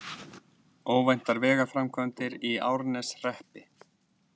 Óvæntar vegaframkvæmdir í Árneshreppi